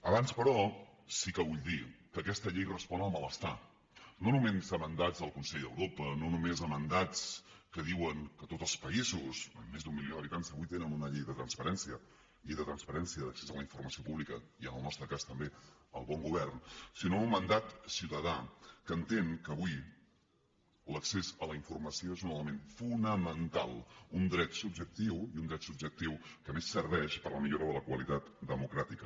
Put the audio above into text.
abans però sí que vull dir que aquesta llei respon al malestar no només a mandats del consell a europa no només a mandats que diuen que tots els països amb més d’un milió d’habitants avui tenen una llei de transparència llei de transparència d’accés a la informació pública i en el nostre cas també al bon govern sinó a un mandat ciutadà que entén que avui l’accés a la informació és un element fonamental un dret subjectiu i un dret subjectiu que a més serveix per a la millora de la qualitat democràtica